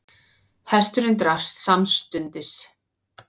Hesturinn drapst samstundis